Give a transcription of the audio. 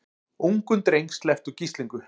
Ungum dreng sleppt úr gíslingu